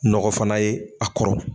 Nɔgɔ fana ye a kɔrɔ.